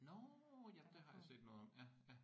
Nåh ja det har jeg set noget om ja ja